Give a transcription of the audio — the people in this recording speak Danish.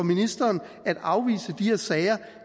ministeren at afvise de her sager